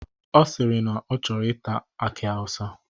Ọ sịrị na ya chọrọ ita aki awụsa.